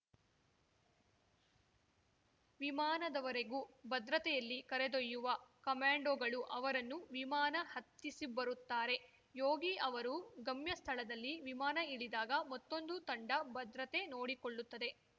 ವಿಮಾನದವರೆಗೂ ಭದ್ರತೆಯಲ್ಲಿ ಕರೆದೊಯ್ಯುವ ಕಮ್ಯಾಂಡೋಗಳು ಅವರನ್ನು ವಿಮಾನ ಹತ್ತಿಸಿಬರುತ್ತಾರೆ ಯೋಗಿ ಅವರು ಗಮ್ಯ ಸ್ಥಳದಲ್ಲಿ ವಿಮಾನ ಇಳಿದಾಗ ಮತ್ತೊಂದು ತಂಡ ಭದ್ರತೆ ನೋಡಿಕೊಳ್ಳುತ್ತದೆ